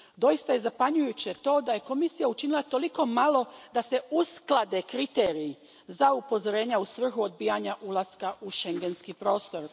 Doista je zapanjujuće to da je Komisija učinila toliko malo da se usklade kriteriji za upozorenja u svrhu odbijanja ulaska u schengenski prostor.